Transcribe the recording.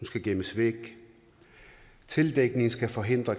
skal gemmes væk tildækningen skal forhindre